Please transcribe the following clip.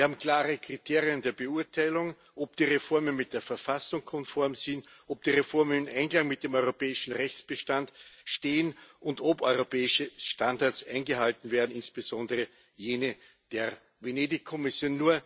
Wir haben klare Kriterien der Beurteilung, ob die Reformen mit der Verfassung konform sind, ob die Reformen im Einklang mit dem europäischen Rechtsbestand stehen und ob europäische Standards eingehalten werden, insbesondere jene der Venedig Kommission.